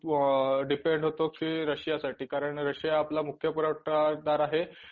Depend होतो ते रशियासाठी कारण, रशिया आपला मुख्य पुरवठादार आहे.